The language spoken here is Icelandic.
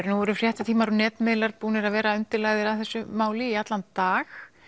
nú eru fréttatímar og netmiðlar búnir að vera undirlagðir af þessu máli í allan dag